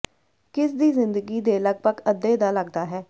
ਕਿਸ ਦੀ ਜ਼ਿੰਦਗੀ ਦੇ ਲਗਭਗ ਅੱਧੇ ਦਾ ਲੱਗਦਾ ਹੈ